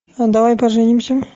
давай поженимся